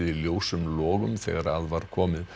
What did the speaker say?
ljósum logum þegar að var komið